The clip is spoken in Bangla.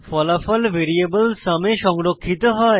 ফলাফল ভ্যারিয়েবল সুম এ সংরক্ষিত হয়